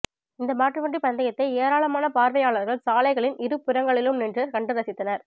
இந்த மாட்டு வண்டி பந்தயத்தை ஏராளமான பார்வையாளர்கள் சாலைகளின் இருபுறங்களிலும் நின்று கண்டு ரசித்தனர்